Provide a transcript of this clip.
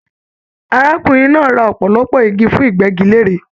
Arákùnrin náà rà ọpọlọpọ igi fún igbẹgilère